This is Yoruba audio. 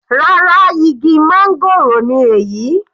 Rárá, igi máńgòrò ni èyí.